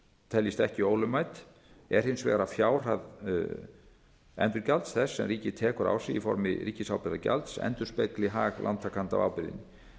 teljist ekki ólögmæt er hins vegar að fjárhæð endurgjalds þess sem ríkið tekur á sig í formi ríkisábyrgðargjalds endurspegli hag lántakanda af